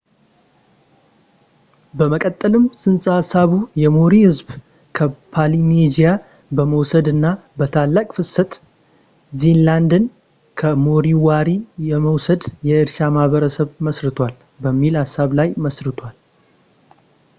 በመቀጠልም ጽንሰ ሃሳቡ የሞሪ ሕዝብ ከፖሊኔዥያ በመሰደድ እና በታላቅ ፍሰት ኒው ዚላንድን ከሞሪዎሪ በመውሰድ የእርሻ ማህበረሰብ መስርቷል በሚል ሃሳብ ላይ መስርቷል